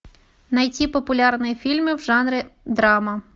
найти популярные фильмы в жанре драма